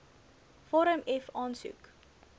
vorm f aansoek